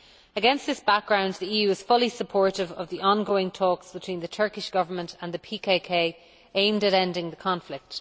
Against this background, the EU is fully supportive of the ongoing talks between the Turkish Government and the PKK aimed at ending the conflict.